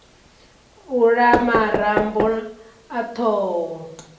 u la marambo a thoho